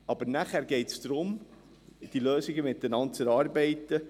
Aber nachher geht es darum, die Lösungen zusammen zu erarbeiten.